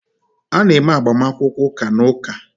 A na-eme agbamakwụkwọ ụka na Ụka